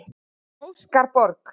Óskar Borg.